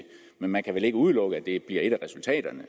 men man kan vel ikke udelukke at det bliver et af de resultater